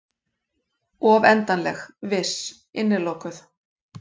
Of endanleg, viss, innilokuð.